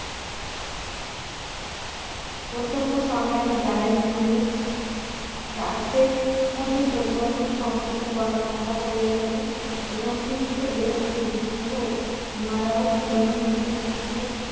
প্রত্যক্ষ সংগ্রামের দ্বারাই জেনারেল তারটেক মধ্যে পরিবর্তন সংঘটিত করা সম্ভব হইয়াছিল এবং খ্রিষ্ট এবং গুপ্ত ইহারাও জীবনের মধ্যে বিশেষ